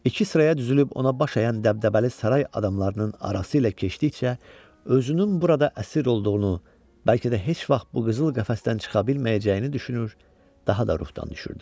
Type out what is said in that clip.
İki sıraya düzülüb ona baş əyən dəbdəbəli saray adamlarının arası ilə keçdikcə, özünün burada əsir olduğunu, bəlkə də heç vaxt bu qızıl qəfəsdən çıxa bilməyəcəyini düşünür, daha da ruhdan düşürdü.